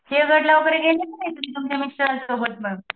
सिंहगडला गेले कि नाही तुमच्या मिस्टरांन सोबत म